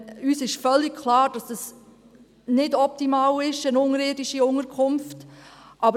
Aber uns ist völlig klar, dass eine unterirdische Unterkunft nicht optimal ist.